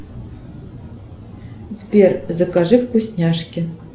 сбер закажи вкусняшки